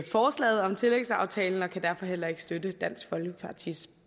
forslaget om tillægsaftalen og kan derfor heller ikke støtte dansk folkepartis